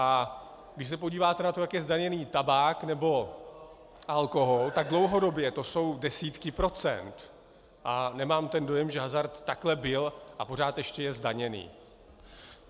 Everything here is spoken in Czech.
A když se podíváte na to, jak je zdaněn tabák nebo alkohol, tak dlouhodobě to jsou desítky procent a nemám ten dojem, že hazard takhle byl a pořád ještě je zdaněn.